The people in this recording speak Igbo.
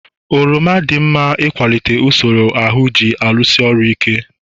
oroma dị mma n'ịkwalite usoro ahụ ji alụso ọrịa ọgụ